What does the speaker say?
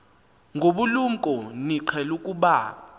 ngobulumko niqhel ukubamb